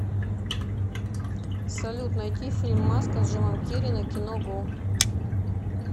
салют найти фильм маска с джимом керри на кино го